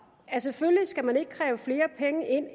at selvfølgelig skal man ikke kræve flere penge ind